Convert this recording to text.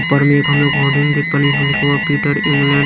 ऊपर में एक हम लोग होर्डिंग देख पा रहे हैं जिसमें लिखा हुआ है पीटर इंग्लैण्ड--